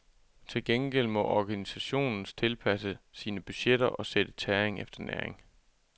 Til gengæld må organisationen tilpasse sine budgetter og sætte tæring efter næring.